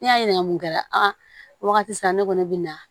N'i y'a ɲininga mun kɛra o wagati sera ne kɔni be na